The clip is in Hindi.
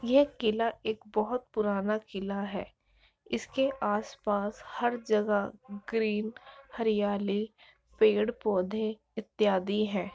यह किला एक बहुत पुराना किला है इसके आसपास हर जगह ग्रीन हरियाली पेड़ पौधे इत्यादि हैं।